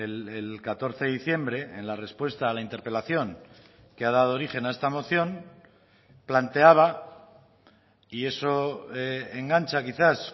el catorce de diciembre en la respuesta a la interpelación que ha dado origen a esta moción planteaba y eso engancha quizás